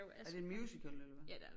Er det en musical eller hvad